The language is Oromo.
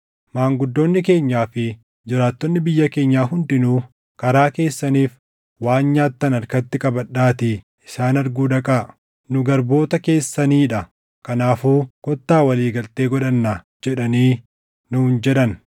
Maanguddoonni keenyaa fi jiraattonni biyya keenyaa hundinuu, ‘Karaa keessaniif waan nyaattan harkatti qabadhaatii isaan arguu dhaqaa, “Nu garboota keessanii dha; kanaafuu kottaa walii galtee godhannaa” jedhaanii’ nuun jedhan.